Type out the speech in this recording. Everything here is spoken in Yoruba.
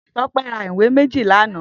Tope rà iwé méji lànã